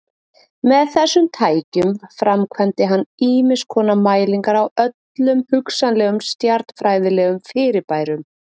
Með þessum tækjum framkvæmdi hann ýmiskonar mælingar á öllum hugsanlegum stjarnfræðilegum fyrirbærum.